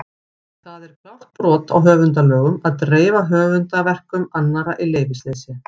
Og það er klárt brot á höfundalögum að dreifa höfundarverkum annarra í leyfisleysi!